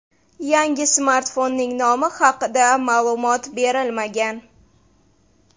Yangi smartfonning nomi haqia ma’lumot berilmagan.